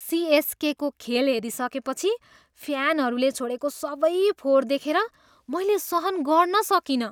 सिएसकेको खेल हेरिसकेपछि फ्यानहरूले छोडेको सबै फोहोर देखेर मैल सहन गर्न सकिनँ।